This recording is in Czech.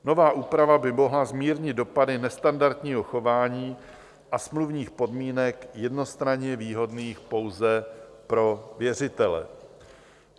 Nová úprava by mohla zmírnit dopady nestandardního chování a smluvních podmínek jednostranně výhodných pouze pro věřitele.